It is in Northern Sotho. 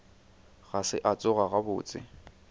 ga se a tsoga gabotse